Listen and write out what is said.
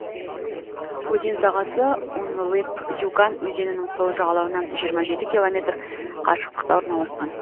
өзен сағасы ун лып юган өзенінің сол жағалауынан жиырма жеті километр қашықтықта орналасқан